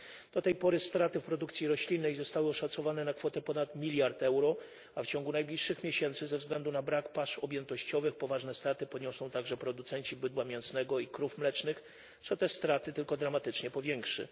Do tej pory straty w produkcji roślinnej zostały oszacowane na kwotę ponad miliarda euro, a w ciągu najbliższych miesięcy ze względu na brak pasz objętościowych poważne straty poniosą także producenci bydła mięsnego i krów mlecznych, co te straty tylko dramatycznie powiększy.